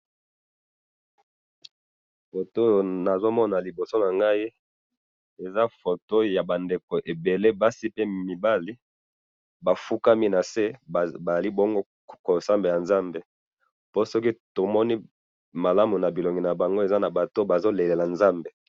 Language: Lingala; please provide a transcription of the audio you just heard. photo oyo nazo mona liboso na ngai, eza photo ya bato ebele, basi pe mibali, ba fukami na se, bazali bongo ko sambela nzambe, po soki tomoni malamu na bilongi na bango, eza na bato oyo bazo sambela nzambe